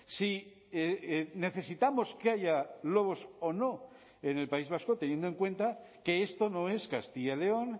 si necesitamos que haya lobos o no en el país vasco teniendo en cuenta que esto no es castilla y león